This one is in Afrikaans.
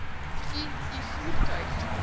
u u voertuig